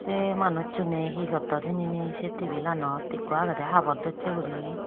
sei manucchune hee gotton hijeni sei tebilanot ikko agede habor docche guri.